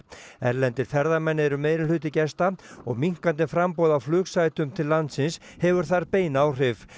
erlendir ferðamenn eru gesta og minnkandi framboð á flugsætum til landsins hefur þar bein áhrif